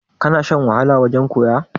ka Sha wahala wajen koya?